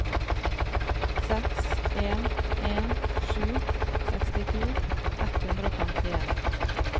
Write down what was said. seks en en sju sekstito ett hundre og femtien